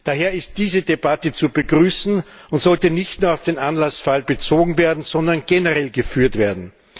Daher ist diese Debatte zu begrüßen und sollte nicht nur auf den Anlassfall bezogen werden, sondern generell geführt werden.